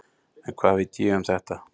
En hvað veit ég um þetta?